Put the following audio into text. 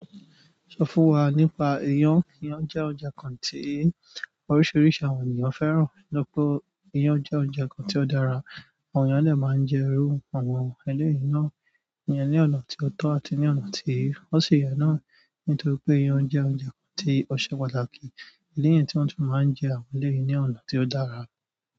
Sọ fún wa nípa iyán. Iyán jẹ́ oúnjẹ kan tí oríṣiríṣi àwọn ènìyàn fẹ́ràn. To ri pé iyán jẹ́ oúnjẹ kan tí ó dára, àwọn ènìyàn dè máa n jẹ irú àwọn eleyii náà. Iyán ní ọ̀nà tí ó tọ́ àti ní ọ̀nà tí ó sì yẹ náà. Nítorí oe iyan je oúnjẹ kan ti o se pàtàkì. Idi niyii tí wọ́n tún máa ń jẹ àwọn eleyii ní ọ̀nà tí ó dára.